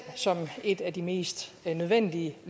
som et af de mest nødvendige